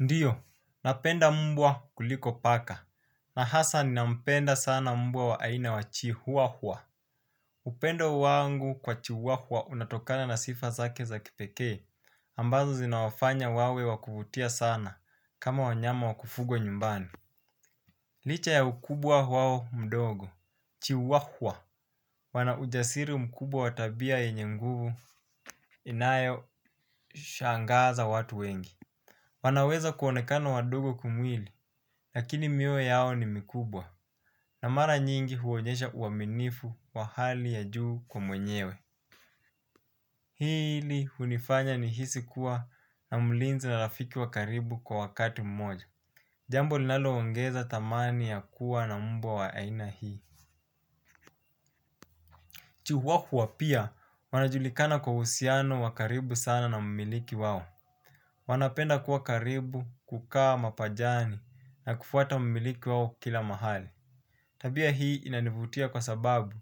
Ndiyo, napenda mbwa kuliko paka, na hasa ninampenda sana mbwa wa aina wachi huahua. Upendo wangu kwa chihuahua unatokana na sifa zake za kipekee, ambazo zinawafanya wawe wakuvutia sana kama wanyama wakufugwa nyumbani. Licha ya ukubwa wao mdogo, chihuahua, wana ujasiri mkubwa wa tabia yenye nguvu inayo shangaza watu wengi. Wanaweza kuonekana wadogo kwa mwili, lakini miwe yao ni mikubwa. Na mara nyingi huonyesha uaminifu wa hali ya juu kwa mwenyewe. Hili hunifanya nihisi kuwa na mlinzi na rafiki wa karibu kwa wakati mmoja. Jambo linalo ongeza thamani ya kuwa na mbwa wa aina hii Chihuahua pia, wanajulikana kwa uhusiano wa karibu sana na mmiliki wao. Wanapenda kuwa karibu kukaa mapajani na kufuata mmiliki wao kila mahali. Tabia hii inanivutia kwa sababu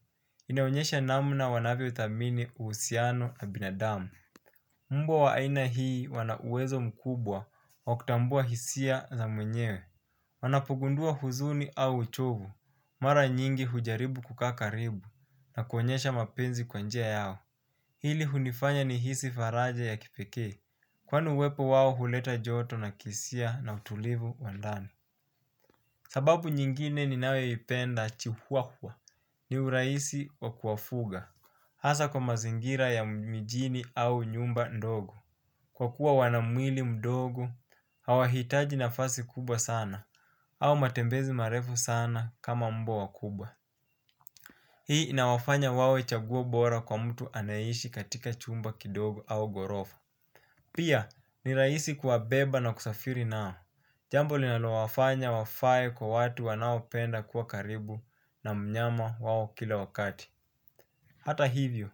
inaonyesha namna wanavyo thamini uhusiano na binadamu. Mmbwa wa aina hii wanauwezo mkubwa wa kutambua hisia za mwenyewe. Wanapogundua huzuni au uchovu mara nyingi hujaribu kukaa karibu na kuonyesha mapenzi kwa njia yao. Hili hunifanya nihisi faraja ya kipeke, kwani uwepo wao huleta joto na kihisia na utulivu wa ndani. Sababu nyingine ni nayo ipenda chihuahua, ni urahisi wa kuwafuga, hasa kwa mazingira ya mijini au nyumba ndogo. Kwa kuwa wanamwili mdogo, hawa hitaji nafasi kubwa sana, au matembezi marefu sana kama mbwa wakubwa. Hii inawafanya wawe chaguo bora kwa mtu anayeishi katika chumba kidogo au ghorofa. Pia ni rahisi kuwabeba na kusafiri nao. Jambo linalo wafanya wafae kwa watu wanaopenda kuwa karibu na mnyama wawo kila wakati. Hata hivyo,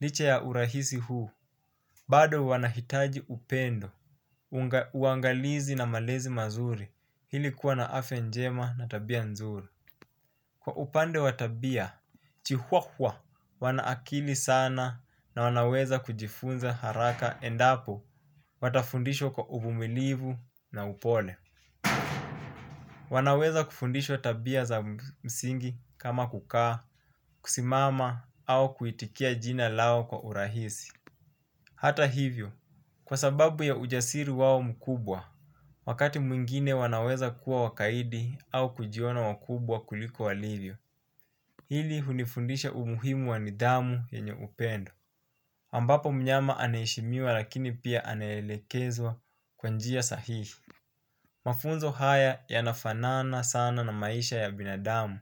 licha ya urahisi huu bado wanahitaji upendo. Uangalizi na malezi mazuri ili kuwa na afya njema na tabia nzuri. Kwa upande wa tabia, chihuahua wanaakili sana na wanaweza kujifunza haraka endapo watafundishwa kwa uvumilivu na upole. Wanaweza kufundishwa tabia za msingi kama kukaa, kusimama au kuitikia jina lao kwa urahisi. Hata hivyo, kwa sababu ya ujasiri wao mkubwa, wakati mwingine wanaweza kuwa wakaidi au kujiona wakubwa kuliko walivyo. Hili hunifundisha umuhimu wa nidhamu yenye upendo ambapo mnyama anaheshimiwa lakini pia anaelekezwa kwa njia sahihi. Mafunzo haya yanafanana sana na maisha ya binadamu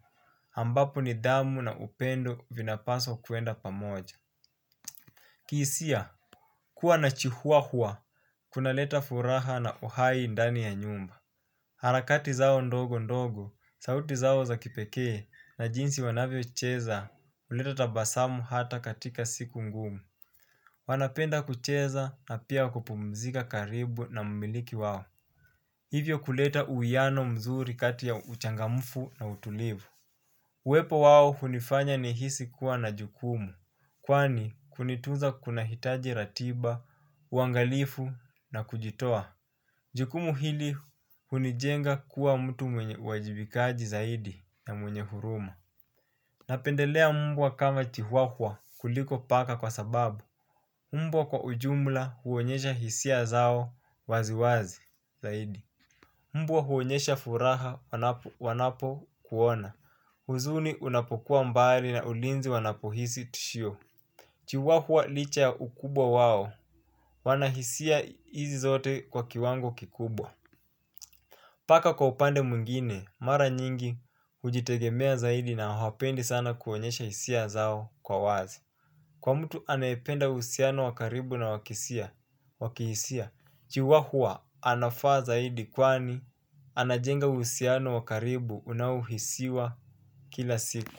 ambapo nidhamu na upendo vinapaswa kuenda pamoja. Kihisia, kuwa na chihuahua, kuna leta furaha na uhai ndani ya nyumba. Harakati zao ndogo ndogo, sauti zao za kipekee na jinsi wanavyo cheza huleta tabasamu hata katika siku ngumu. Wanapenda kucheza na pia kupumzika karibu na mumiliki wao. Hivyo kuleta uwiano mzuri kati ya uchangamfu na utulivu. Uwepo wao hunifanya nihisi kuwa na jukumu. Kwani kunitunza kunahitaji ratiba, uangalifu na kujitoa jukumu hili hunijenga kuwa mtu mwenye uwajibikaji zaidi na mwenye huruma napendelea mbwa kama chihuahua kuliko paka kwa sababu mbwa kwa ujumla huonyesha hisia zao wazi wazi zaidi mbwa huonyesha furaha wanapokuona huzuni unapokuwa mbaya na ulinzi wanapohisi tishio chihuahua licha ya ukubwa wao, wanahisia hizi zote kwa kiwango kikubwa paka kwa upande mwingine mara nyingi hujitengemea zaidi na hawapendi sana kuonyesha hisia zao kwa wazi. Kwa mtu anayependa uhusiano wa karibu na wa kihisia chihuahua anafaa zaidi kwani anajenga uhusiano wa karibu unaohisiwa kila siku.